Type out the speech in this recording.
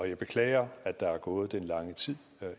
jeg beklager at der er gået den lange tid